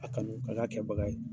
A kanu ka kɛ a kɛbaga ye.